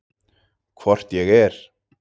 Hvort ég er.